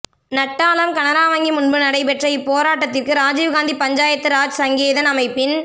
நட்டாலம் கனரா வங்கி முன்பு நடைபெற்ற இப்போராட்டத்திற்கு ராஜீவ்காந்தி பஞ்சாயத்து ராஜ் சங்கேதன் அமைப்பின்